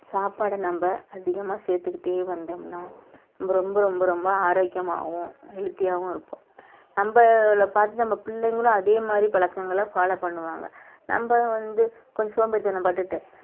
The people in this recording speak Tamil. சாப்பாட நம்ம அதிகமா சேர்த்துக்கிட்டே வந்தோம்னா ரொம்ப ரொம்ப ரொம்ப ஆரோக்கியமாகவும healthy ஆவும் இருப்போம் நம்மளை பார்த்து நம்ம பிள்ளைங்களும் அதே மாதிரி பழக்கங்கள follow பண்ணுவாங்க நம்ம வந்து கொஞ்சம் சோம்பேறித்தனம் பட்டுட்டு